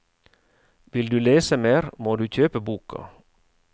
Vil du lese mer, må du kjøpe boka.